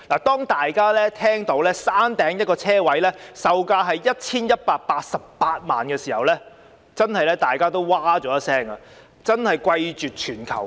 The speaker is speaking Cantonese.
大家看到山頂一個車位的售價是 1,188 萬元時不禁譁然，因為真的是貴絕全球。